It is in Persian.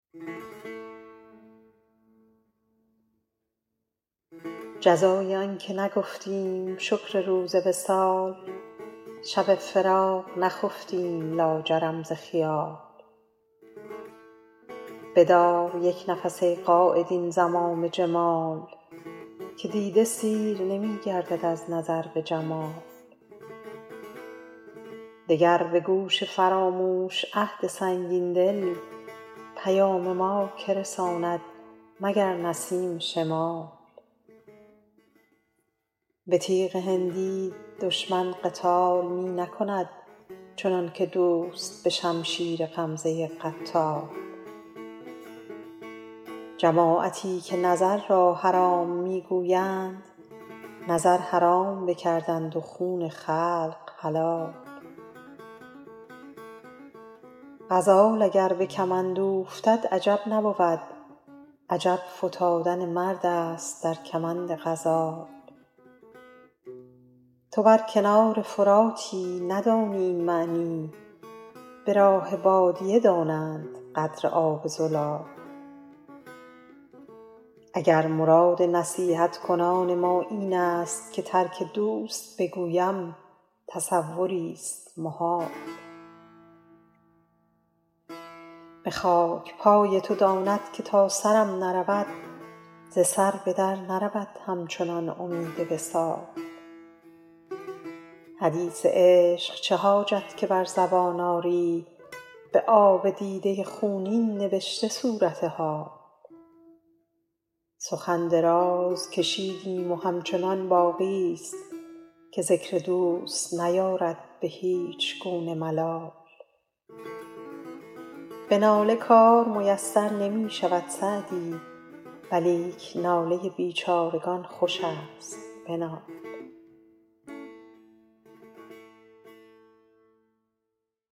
جزای آن که نگفتیم شکر روز وصال شب فراق نخفتیم لاجرم ز خیال بدار یک نفس ای قاید این زمام جمال که دیده سیر نمی گردد از نظر به جمال دگر به گوش فراموش عهد سنگین دل پیام ما که رساند مگر نسیم شمال به تیغ هندی دشمن قتال می نکند چنان که دوست به شمشیر غمزه قتال جماعتی که نظر را حرام می گویند نظر حرام بکردند و خون خلق حلال غزال اگر به کمند اوفتد عجب نبود عجب فتادن مرد است در کمند غزال تو بر کنار فراتی ندانی این معنی به راه بادیه دانند قدر آب زلال اگر مراد نصیحت کنان ما این است که ترک دوست بگویم تصوریست محال به خاک پای تو داند که تا سرم نرود ز سر به در نرود همچنان امید وصال حدیث عشق چه حاجت که بر زبان آری به آب دیده خونین نبشته صورت حال سخن دراز کشیدیم و همچنان باقیست که ذکر دوست نیارد به هیچ گونه ملال به ناله کار میسر نمی شود سعدی ولیک ناله بیچارگان خوش است بنال